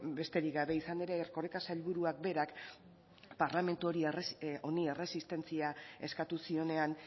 besterik gabe izan ere erkoreka sailburuak berak parlamentu honi erresistentzia eskatu zionean